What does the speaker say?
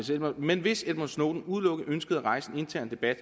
men hvis edward snowden udelukkende ønskede at rejse en intern debat